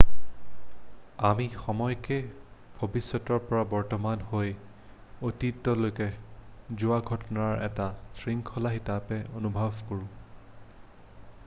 আমি সময়ক ভৱিষ্যতৰ পৰা বৰ্তমান হৈ অতীতলৈকে যোৱা ঘটনাৰ এটা শৃংখলা হিচাপে অনুভৱ কৰো